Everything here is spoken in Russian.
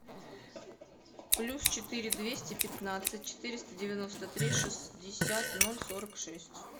плюс четыре двести пятнадцать четыреста девяносто три шестьдесят ноль сорок шесть